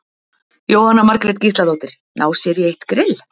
Jóhanna Margrét Gísladóttir: Ná sér í eitt grill?